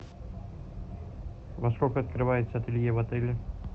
во сколько открывается ателье в отеле